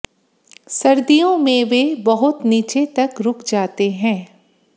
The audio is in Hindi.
सर्दियों में वे बहुत नीचे तक रुक जाते हैं